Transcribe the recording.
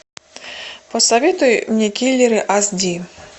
посоветуй мне киллеры ас ди